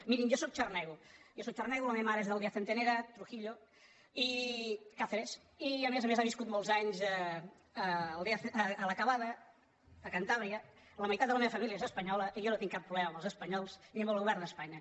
mirin jo sóc xarnego jo sóc xarnego la meva mare és d’aldeacentenera trujillo cáceres i a més a més ha viscut molts anys a la cavada a cantàbria la mei·tat de la meva família és espanyola i jo no tinc cap problema amb els espanyols ni amb el govern d’es·panya